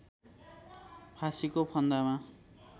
फाँसीको फन्दामा